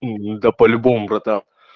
да по-любому братан